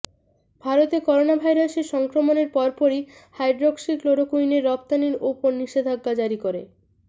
ভারতে করোনাভাইরাসের সংক্রমণের পর পরই হাইড্রক্সিক্লোরোকুইনের রফতানির উপর নিষেধাজ্ঞা জারি করে